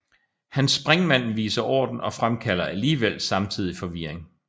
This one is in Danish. Hans springvand viser orden og fremkalder alligevel samtidig forvirring